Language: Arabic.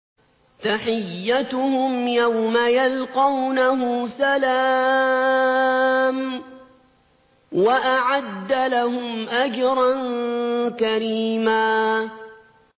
تَحِيَّتُهُمْ يَوْمَ يَلْقَوْنَهُ سَلَامٌ ۚ وَأَعَدَّ لَهُمْ أَجْرًا كَرِيمًا